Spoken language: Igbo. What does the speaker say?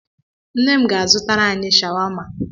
Nne m ga-azụtara anyị shawama.